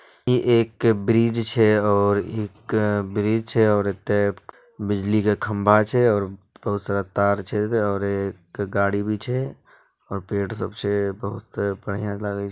इ एक ब्रिज छै और एक ब्रिज छै और एता बिजली के खंभा छै और बहुत सारा तार छै और एक गाड़ी भी छै और पेड़ सब छै बहुत बढ़िया लागे छ --